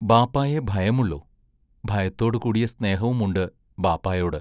ബാപ്പായെ ഭയമുള്ളൂ-ഭയത്തോടുകൂടിയ സ്നേഹവുമുണ്ട് ബാപ്പായോട്.